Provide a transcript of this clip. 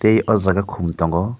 tei o jaga kum tongo.